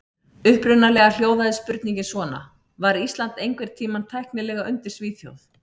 Upprunalega hljóðaði spurningin svona: Var Ísland einhvern tímann tæknilega undir Svíþjóð?